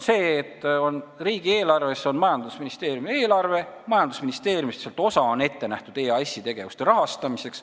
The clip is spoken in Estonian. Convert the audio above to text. Majandusministeeriumi eelarve on riigieelarve osa ja sellest osa on ette nähtud EAS-i tegevuste rahastamiseks.